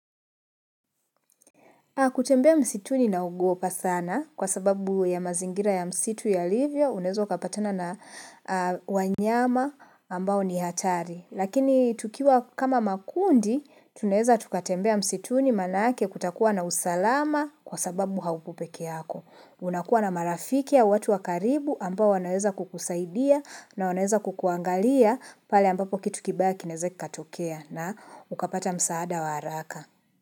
Kutembea msituni naogopa sana kwa sababu ya mazingira ya msitu yalivyo, unaeza ukapatana na wanyama ambao ni hatari. Lakini tukiwa kama makundi tunaeza tukatembea msituni maanake kutakuwa na usalama kwa sababu hauko peke yako. Unakuwa na marafiki au watu wa karibu ambao wanaeza kukusaidia na wanaeza kukuangalia pale ambapo kitu kibaya kinaeze kikatokea na ukapata msaada wa haraka.